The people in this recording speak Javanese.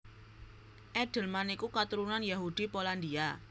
Edelman iku katurunan Yahudi Polandia